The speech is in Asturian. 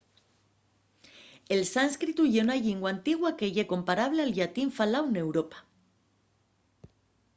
el sánscritu ye una llingua antigua que ye comparable al llatín faláu n’europa